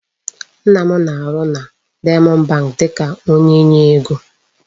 Nna m na-arụ na Diamond bank dịka onye nye ego.